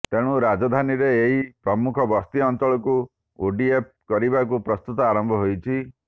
ତେଣୁ ରାଜଧାନୀର ଏହି ପ୍ରମୁଖ ବସ୍ତି ଅଞ୍ଚଳକୁ ଓଡିଏଫ୍ କରିବାକୁ ପ୍ରସ୍ତୁତି ଆରମ୍ଭ ହୋଇଛି